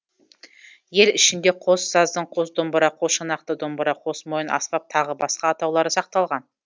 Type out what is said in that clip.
ел ішінде қос саздың қос домбыра қос шанақты домбыра қос мойын аспап тағы басқа атаулары сақталған